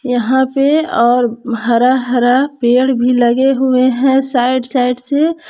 यहां पे और हरा हरा पेड़ भी लगे हुए हैं साइड साइड से।